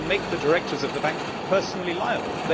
It is to make the directors of the Bank personally liable.